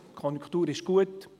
Die Konjunktur ist gut.